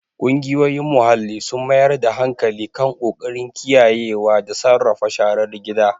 Ƙungiyoyin muhalli sun mayar da hankali kan ƙoƙarin kiyayewa da sarrafa sharar gida.